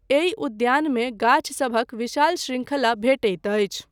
एहि उद्यानमे गाछसभक विशाल शृंखला भेटैत अछि।